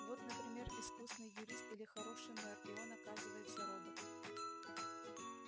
вот например искусный юрист или хороший мэр и он оказывается робот